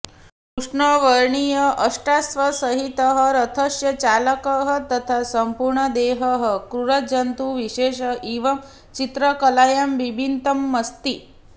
कृष्णवर्णीय अष्टाश्वसहितः रथस्य चालकः तथा सम्पूर्णदेहः क्रूरजन्तु विशेष इव चित्रकलायां बिम्बितमस्ति